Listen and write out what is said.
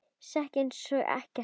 Sekk ég einsog ekkert.